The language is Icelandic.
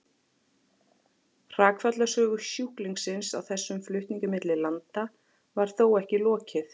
Hrakfallasögu sjúklingsins á þessum flutningi milli landa var þó ekki lokið.